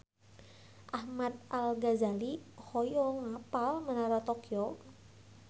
Ahmad Al-Ghazali hoyong apal Menara Tokyo